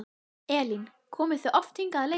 Elín: Komið þið oft hingað að leika?